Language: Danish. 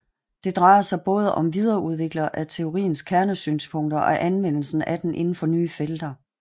Det drejer sig både om videreudviklinger af teoriens kernesynspunkter og anvendelser af den inden for nye felter